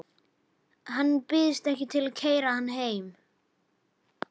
Hann býðst ekki til að keyra hana heim.